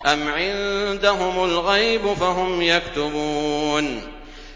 أَمْ عِندَهُمُ الْغَيْبُ فَهُمْ يَكْتُبُونَ